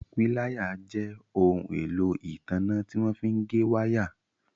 Píláyà jẹ́ ohun èlò ìtanná tí wọ́n fí ń gé wáà.